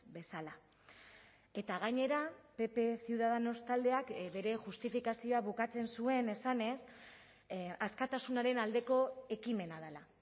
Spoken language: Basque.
bezala eta gainera pp ciudadanos taldeak bere justifikazioa bukatzen zuen esanez askatasunaren aldeko ekimena dela